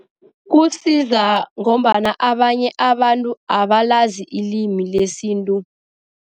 Kusiza ngombana abanye abantu abalazi ilimi lesintu.